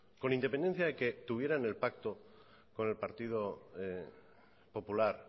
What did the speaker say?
con independencia de que tuvieran el pacto con el partido popular